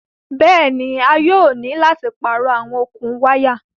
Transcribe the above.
Bẹ́ẹ̀ni, a yóò ni láti páarọ̀ àwọn okun wàya